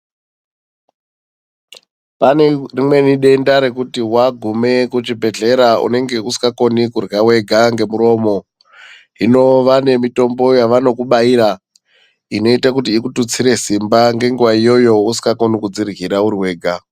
Pane rimweni denda rekuti wagume kuchibhedhlera unonge usingakoni kurya wega ngemuromo, hino vane mitombo yavanokubaira inoita kuti ikututsire simba ngenguwa iyoyo usingakoni kudziryira uriwega.